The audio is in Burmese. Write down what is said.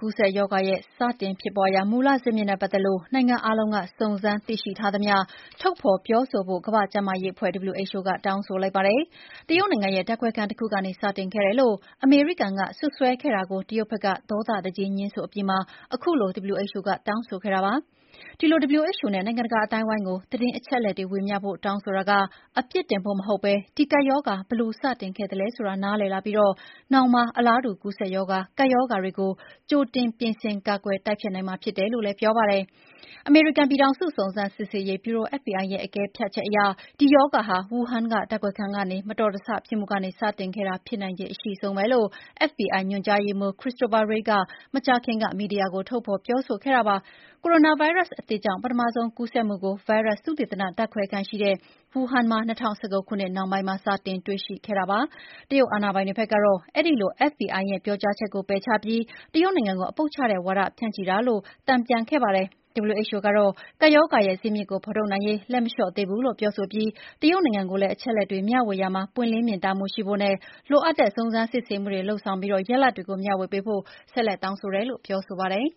ကူးစက်ရောဂါစတင်ဖြစ်ပွားရာ မူလဇစ်မြစ်နဲ့ပတ်သက်လို့ နိုင်ငံအားလုံးက စုံစမ်းသိရှိထားသမျှတွေ ထုတ်ဖော်ပြောဆိုဖို့ကို ကမ္ဘာ့ကျန်းမာရေးအဖွဲ့ WHO က တောင်းဆိုလိုက်ပါတယ်။ တရုတ်နိုင်ငံရဲ့ဓာတ်ခွဲခန်းတခုကနေ စတင်ခဲ့တယ်လို့ အမေရိကန်ကစွပ်စွဲခဲ့တာကို တရုတ်ဘက်က ဒေါသတကြီး ငြင်းဆိုအပြီးမှာ အခုလို WHO က တောင်းဆိုခဲ့တာပါ။ ဒီလို WHO နဲ့ နိုင်ငံတကာအသိုင်းအဝန်းကို သတင်းအလက်အချက်တွေ ဝေမျှဖို့ တောင်းဆိုတာက အပြစ်တင်ဖို့မဟုတ်ဘဲ ဒီကပ်ရောဂါ ဘယ်လို စတင်ခဲ့သလဲဆိုတာနားလည်လာပြီး နောင်မှာ အလားတူကူးစက်ရောဂါ၊ ကပ်ရောဂါတွေကို ကြိုတင် ပြင်ဆင် ကာကွယ် တိုက်ဖျက်နိုင်မှာ ဖြစ်တယ်လို့ဆိုပါတယ်။ အမေရိကန်ပြည်ထောင်စု စုံစမ်းစစ်ဆေးရေးဗျူရို FBI ရဲ့ အကဲဖြတ်ချက်အရ "ဒီရောဂါဟာ ဝူဟန်က ဓာတ်ခွဲခန်းမတော်တဆဖြစ်မှုက စတင်ခဲ့တာဖြစ်နိုင်ခြေအရှိဆုံးပဲ" လို့ FBI ညွှန်ကြားရေးမှူး Christopher Wray က သိပ်မကြာခင်က မီဒီယာကို ထုတ်ပြောခဲ့တာပါ။ ကိုရိုနာဗိုင်းရပ်အသစ်ရဲ့ ပထမဆုံးကူးစက်မှုကို ဗိုင်းရပ်စ်သုတေသနဓာတ်ခွဲခန်းရှိတဲ့ ဝူဟန်မှာ ၂၀၁၉ ခုနှစ်နှောင်းပိုင်းမှာ စတင် တွေ့ရှိခဲ့ပါတယ်။ တရုတ်အာဏာပိုင်တွေဘက်ကတော့ အဲဒီလို FBI ရဲ့ ပြောကြားချက်ကို ပယ်ချပြီး တရုတ်နိုင်ငံကို အပုပ်ချတဲ့ဝါဒဖြန့်ချီတာလို့ တန်ပြန်ခဲ့ပါတယ်။ WHO ကတော့ ကပ်ရောဂါရဲ့ဇစ်မြစ်ကိုဖော်ထုတ်နိုင်ရေး လက်မလျှော့သေးဘူးလို့ ပြောပြီး တရုတ်နိုင်ငံကိုလည်း အချက်အလက်တွေ မျှဝေရာမှာ ပွင့်လင်းမြင်သာမှုရှိဖို့နဲ့ လိုအပ်တဲ့ စုံစမ်းစစ်ဆေးမှုတွေလုပ်ဆောင်ပြီး ရလဒ်တွေကို မျှဝေပေးဖို့ ဆက်လက်တောင်းဆိုနေတယ်လို့ ဆိုပါတယ်